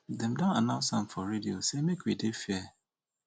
dey don announce am for radio say make we dey fair